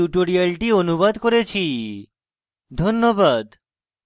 ধন্যবাদ